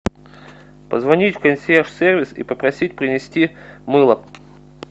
позвонить в консьерж сервис и попросить принести мыло